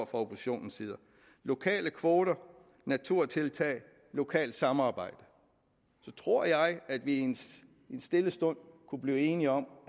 fra oppositionens side lokale kvoter naturtiltag lokalt samarbejde så tror jeg at vi i en stille stund kunne blive enige om